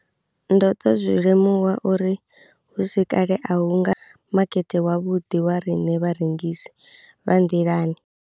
Ndo ḓo zwi limuwa uri hu si kale a hu nga makete wavhuḓi wa riṋe vharengisi vha nḓilani.